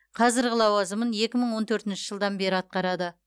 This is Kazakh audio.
қазіргі лауазымын екі мың он төртінші жылдан бері атқарады